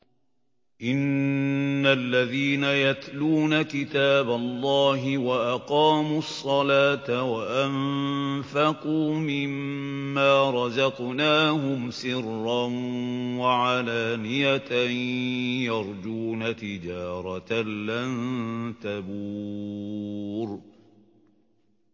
إِنَّ الَّذِينَ يَتْلُونَ كِتَابَ اللَّهِ وَأَقَامُوا الصَّلَاةَ وَأَنفَقُوا مِمَّا رَزَقْنَاهُمْ سِرًّا وَعَلَانِيَةً يَرْجُونَ تِجَارَةً لَّن تَبُورَ